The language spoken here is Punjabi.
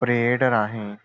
ਪਰੇਡ ਰਾਹੀਂ